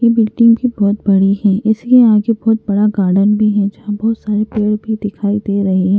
ये बिल्डिंग भी बहुत बड़ी है इस लिए यहाँ पे बहुत बड़ा गार्डन भी है जहाँ बहुत सारे पेड़ भी दिखाई दे रहें हैं।